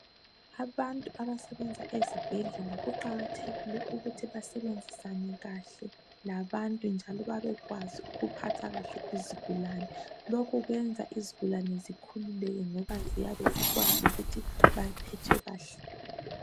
Abantu abasebenza ezibhedlela kuqakathekile ukuthi basebenzisane kahle labantu njalo babekwazi ukuphatha kahle izigulane lokhu kwenza izigulane zikhululeke ngoba ziyabe zikwazi ukuthi baphethwe kahle